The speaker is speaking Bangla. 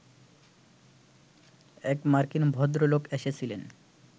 এক মার্কিন ভদ্রলোক এসেছিলেন